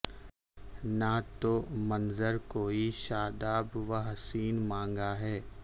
نہ تو منظر کوئی شاداب و حسیں مانگا ہے